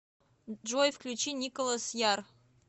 джой включи николас яр